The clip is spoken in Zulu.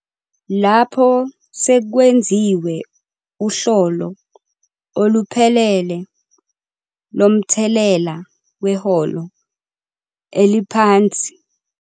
Lapho sekwenziwe uhlolo oluphelele lomthelela weholo eliphansi elisha elihlongoziwe emnothweni wangakusasa webhizinisi, umfama noma umphathi wepulazi kuzomele enze isinqumo akhethe okukodwa.